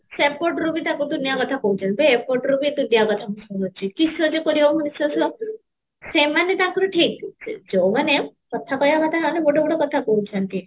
ସେପଟରୁ ବି ତାପରେ ଦୁନିଆ କଥା କହୁଛନ୍ତି ବେ ଏପଟରୁ ବି ଦୁନିଆ କଥା ମୁଁ ଶୁଣୁଛି କିସ ଯେ କରିବ ମଣିଷ ସେମାନେ ତାଙ୍କର ଠିକ ଯାଉମାନେ କଥା କହିବା ଜାଣିନାହାନ୍ତି ବଡ ବଡ କଥା କହୁଛନ୍ତି